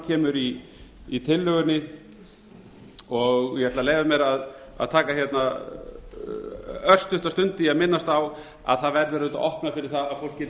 kemur í tillögunni ég ætla að leyfa mér að taka hérna örstutta stund í að minnast á að það verður auðvitað opnað fyrir það að fólk geti